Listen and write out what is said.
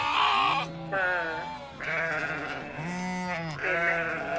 അഹ് പിന്നെ